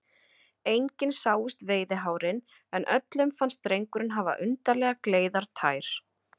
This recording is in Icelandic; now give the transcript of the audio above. Engin sáust veiðihárin, en öllum fannst drengurinn hafa undarlega gleiðar tær.